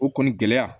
O kɔni gɛlɛya